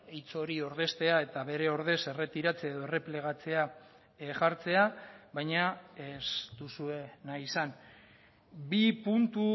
hitz hori ordeztea eta bere ordez erretiratze edo erreplegatzea jartzea baina ez duzue nahi izan bi puntu